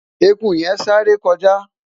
ẹkú yen sááre kọjá